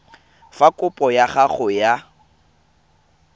fa kopo ya gago ya